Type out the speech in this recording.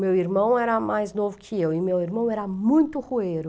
Meu irmão era mais novo que eu e meu irmão era muito rueiro.